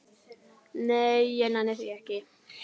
Nei, ég nenni því ekki